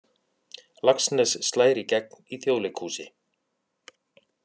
Laxness slær í gegn í Þjóðleikhúsi